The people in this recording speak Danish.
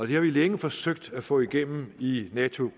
det har vi længe forsøgt at få igennem i nato